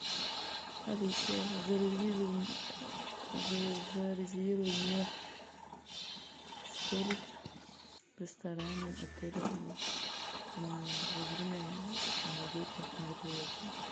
алиса зарезервируй мне столик в ресторане отеля во время новогодних мероприятий